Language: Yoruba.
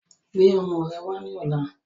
Gbé ọmọ rẹ wà ní ọ̀la!